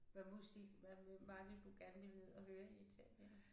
Hvad musik hvad hvem var det du gerne ville ned og høre i Italien?